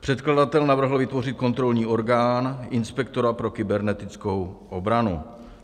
Předkladatel navrhl vytvořit kontrolní orgán - inspektora pro kybernetickou obranu.